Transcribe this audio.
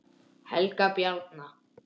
Helga Bjarna.